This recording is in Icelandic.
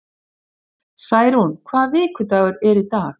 Særún, hvaða vikudagur er í dag?